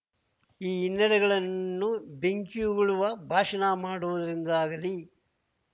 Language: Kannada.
ಈ ಹಿನ್ನೆಡೆಗಳನ್ನು ಬೆಂಕಿಯುಗುಳುವ ಭಾಷಣ ಮಾಡುವುದರಿಂದಾಗಲಿ